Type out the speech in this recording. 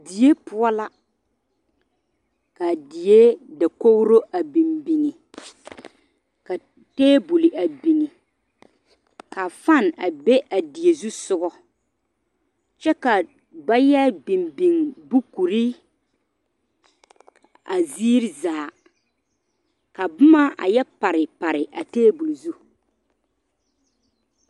Die poɔ la, ka die dakogri a biŋ biŋ ka table a biŋ ka fan a be a die zu soga, kyɛ ka ba yɛ biŋ biŋ bukuri a ziiri zaa ka boma a yɛ pare pare a table zu.